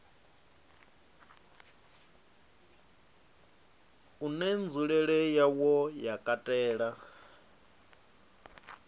une nzulele yawo ya katela